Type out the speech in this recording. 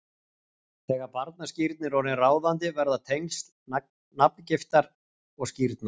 Þegar barnaskírn er orðin ráðandi verða tengsl nafngiftar og skírnar